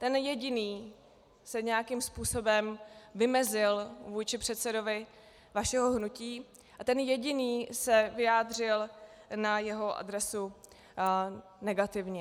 Ten jediný se nějakým způsobem vymezil vůči předsedovi vašeho hnutí a ten jediný se vyjádřil na jeho adresu negativně.